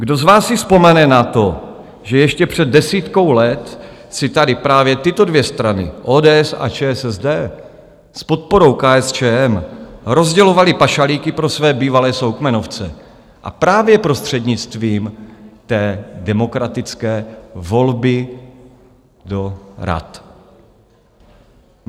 Kdo z vás si vzpomene na to, že ještě před desítkou let si tady právě tyto dvě strany - ODS a ČSSD s podporou KSČM - rozdělovaly pašalíky pro své bývalé soukmenovce, a právě prostřednictvím té demokratické volby do rad?